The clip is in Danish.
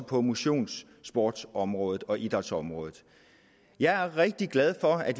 på motionssportsområdet og idrætsområdet jeg er rigtig glad for at